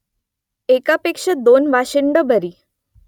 एकापेक्षा दोन वाशिंडं बरी